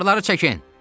Avarları çəkin!